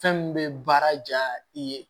Fɛn min bɛ baara ja i ye